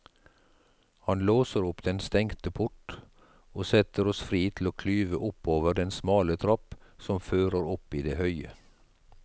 Han låser opp den stengte port og setter oss fri til å klyve oppover den smale trapp som fører opp i det høye.